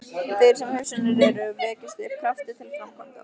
Þar sem hugsjónir eru, vekjast upp kraftar til framkvæmda.